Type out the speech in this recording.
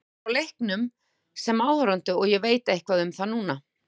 Ég var bara á leikjunum sem áhorfandi en ég veit eitthvað um þá núna.